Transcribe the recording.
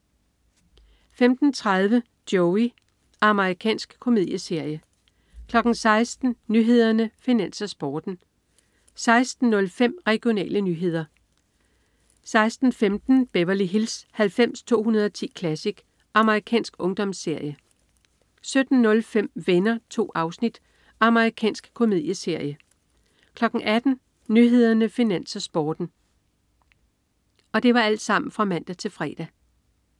15.30 Joey. Amerikansk komedieserie (man-fre) 16.00 Nyhederne, Finans, Sporten (man-fre) 16.05 Regionale nyheder (man-fre) 16.15 Beverly Hills 90210 Classic. Amerikansk ungdomsserie (man-fre) 17.05 Venner. 2 afsnit. Amerikansk komedieserie (man-fre) 18.00 Nyhederne, Finans, Sporten (man-fre)